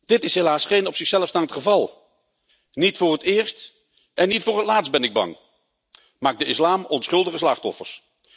Dit is helaas geen op zichzelf staand geval. Niet voor het eerst en niet voor het laatst ben ik bang, maakt de islam onschuldige slachtoffers.